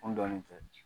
N dɔnnen tɛ